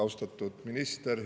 Austatud minister!